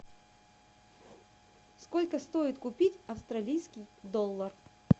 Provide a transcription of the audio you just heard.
сколько стоит купить австралийский доллар